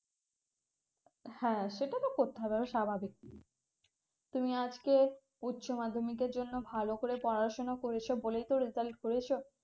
হ্যাঁ সেটা তো ভাবাই স্বাভাবিক তুমি আজকের উচ্চ মাধ্যমিকের জন্য ভালো করে পড়াশোনা করেছে বলেই তো result করেছো